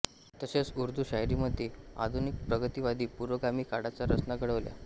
तसेच उर्दू शायरीमध्ये आधुनिक प्रगतिवादी पुरोगामी काळाच्या रचना घडवल्या